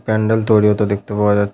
প্যান্ডেল তৈরী হতে দেখতে পাওয়া যা--